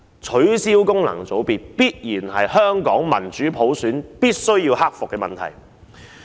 取消功能界別是香港進行民主普選必須克服的問題。